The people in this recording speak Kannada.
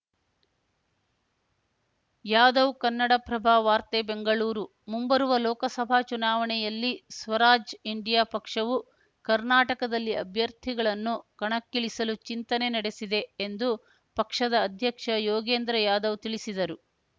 ಯಾದವ್‌ ಕನ್ನಡಪ್ರಭ ವಾರ್ತೆ ಬೆಂಗಳೂರು ಮುಂಬರುವ ಲೋಕಸಭಾ ಚುನಾವಣೆಯಲ್ಲಿ ಸ್ವರಾಜ್‌ ಇಂಡಿಯಾ ಪಕ್ಷವು ಕರ್ನಾಟಕದಲ್ಲಿ ಅಭ್ಯರ್ಥಿಗಳನ್ನು ಕಣಕ್ಕಿಳಿಸಲು ಚಿಂತನೆ ನಡೆಸಿದೆ ಎಂದು ಪಕ್ಷದ ಅಧ್ಯಕ್ಷ ಯೋಗೇಂದ್ರ ಯಾದವ್‌ ತಿಳಿಸಿದರು